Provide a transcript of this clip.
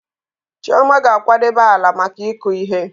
Chioma ga-akwadebe ala maka ịkụ ihe.